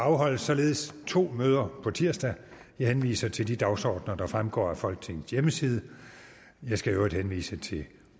afholdes således to møder på tirsdag jeg henviser til de dagsordener der fremgår af folketingets hjemmeside jeg skal i øvrigt henvise til